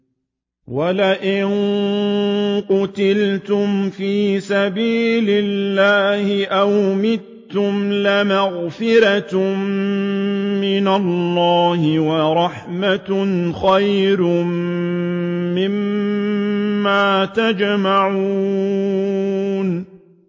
وَلَئِن قُتِلْتُمْ فِي سَبِيلِ اللَّهِ أَوْ مُتُّمْ لَمَغْفِرَةٌ مِّنَ اللَّهِ وَرَحْمَةٌ خَيْرٌ مِّمَّا يَجْمَعُونَ